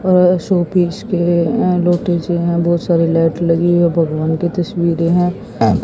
अह showpiece के अह हैं बहुत सारी लाइट लगी है और भगवान की तस्वीरें हैं।